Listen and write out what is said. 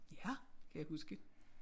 Ja kan jeg huske